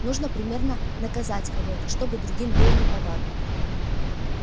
нужно примерно наказать кого-то чтобы другим было неповадно